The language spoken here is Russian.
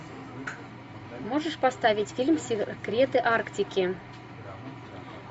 можешь поставить фильм секреты арктики